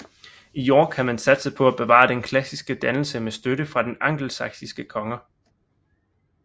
I York havde man satset på at bevare den klassiske dannelse med støtte fra de angelsaksiske konger